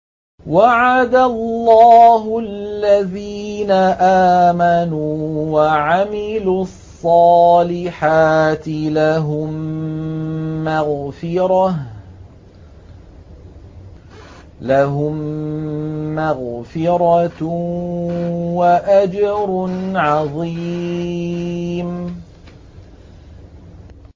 وَعَدَ اللَّهُ الَّذِينَ آمَنُوا وَعَمِلُوا الصَّالِحَاتِ ۙ لَهُم مَّغْفِرَةٌ وَأَجْرٌ عَظِيمٌ